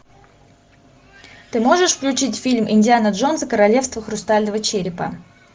ты можешь включить фильм индиана джонс и королевство хрустального черепа